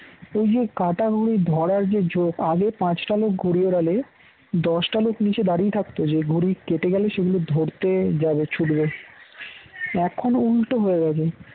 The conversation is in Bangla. ওই যে কাটা ঘুড়ি ধরার যে ঝোঁক আগে পাঁচটা লোক ঘুড়ি ওড়ালে দশটা লোক নিচে দাঁড়িয়ে থাকতো ঘুড়ি কেটে গেল সেগুলো ধরতে যাবে ছুটবে এখন উল্টো হয়ে গেছে